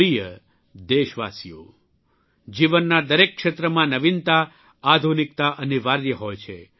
પ્રિય દેશવાસીઓ જીવનના દરેક ક્ષેત્રમાં નવીનતા આધુનિકતા અનિવાર્ય હોય છે